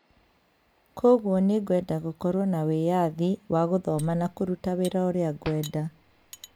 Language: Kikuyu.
kwoguo nĩ ngwenda gũkorũo na wĩyathi wa gũthoma na kũruta wĩra ũrĩa ngwenda.